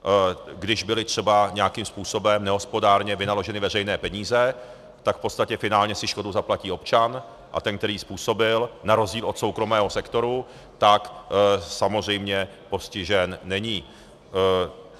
Když byly třeba nějakým způsobem nehospodárně vynaloženy veřejné peníze, tak v podstatě finálně si škodu zaplatí občan a ten, který ji způsobil, na rozdíl od soukromého sektoru, tak samozřejmě postižen není.